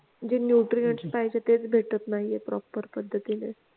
जे newtrian पाहिजेत तेआहेत तेच भेटत नाहीयेत proper पद्धतीने